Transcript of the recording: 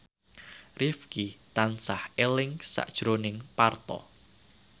Rifqi tansah eling sakjroning Parto